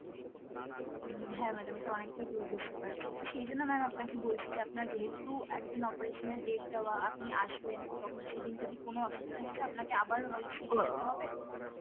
উম হ্যাঁ madam এটা অনেকটাই দূর বুঝতে পারছি, তো সেইজন্য ma'am আপনাকে বলছি যে আপনার যেহুতু একদিন operation এর date দেওয়া আপনি আসবেন তখন সেইদিন যদি কোনো অসুবিধা হয়ে যায় আপনাকে আবার হয় ফিরে যেতে হবে,